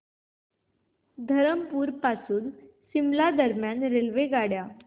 धरमपुर पासून शिमला दरम्यान रेल्वेगाड्या